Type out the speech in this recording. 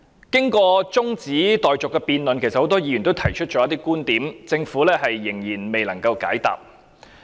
在中止待續的辯論中，其實很多議員也提出了一些觀點，但政府仍然未能解答。